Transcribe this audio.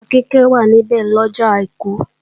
Ìyá Kíkẹ́ wà níbẹ̀ lọ́jọ àìkú